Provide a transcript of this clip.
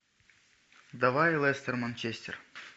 давай лестер манчестер